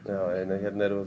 hérna erum við